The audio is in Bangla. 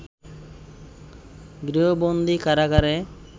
গৃহবন্দী কারাগারে